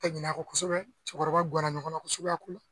ɲin'a kɔ kosɛbɛ cɛkɔrɔba guwanna ɲɔgɔn kosɛbɛ a ko